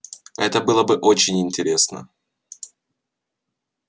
это было бы очень интересно